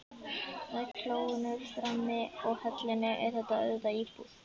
Með klóinu frammi og hellunni er þetta auðvitað íbúð.